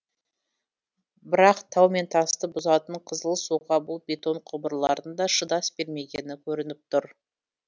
бірақ тау мен тасты бұзатын қызыл суға бұл бетон құбырлардың да шыдас бермегені көрініп тұр